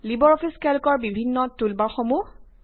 Libre Office কেল্কৰ বিভিন্ন টুলবাৰ্সমূহ